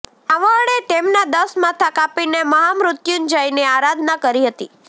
રાવણએ તેમના દસ માથા કાપીને મહામૃત્યુંજયની આરાધના કરી હતી